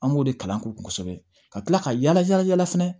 An b'o de kalan k'u kosɛbɛ ka kila ka yala yala yala fɛnɛ